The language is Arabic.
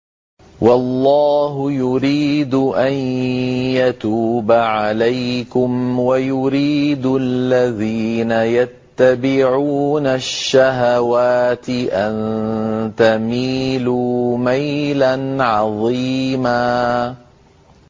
وَاللَّهُ يُرِيدُ أَن يَتُوبَ عَلَيْكُمْ وَيُرِيدُ الَّذِينَ يَتَّبِعُونَ الشَّهَوَاتِ أَن تَمِيلُوا مَيْلًا عَظِيمًا